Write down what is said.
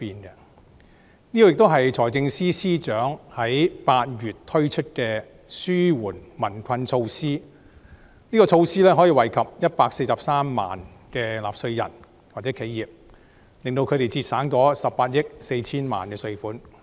這亦是財政司司長8月時推出的紓緩民困措施，可惠及143萬名納稅人或企業，令他們可節省18億 4,000 萬元稅款。